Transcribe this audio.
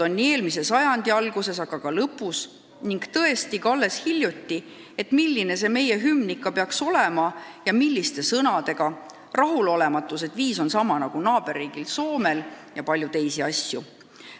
Eelmise sajandi alguses, aga ka lõpus, ning tõesti ka alles hiljuti arutati, milline see meie hümn ikka peaks olema ja milliste sõnadega, on olnud rahulolematust, et viis on sama nagu naaberriigil Soomel, ja on arutatud palju teisi asju.